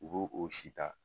U b'o o sita